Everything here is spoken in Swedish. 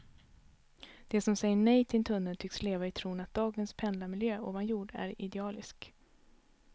De som säger nej till en tunnel tycks leva i tron att dagens pendlarmiljö ovan jord är idealisk.